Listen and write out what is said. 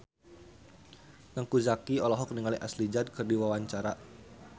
Teuku Zacky olohok ningali Ashley Judd keur diwawancara